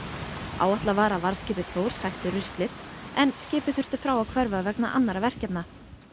áætlað var að varðskipið Þór sækti ruslið en skipið þurfti frá að hverfa vegna annarra verkefna